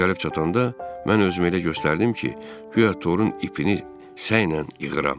O gəlib çatanda, mən özümü elə göstərdim ki, guya torun ipini səylə yığıram.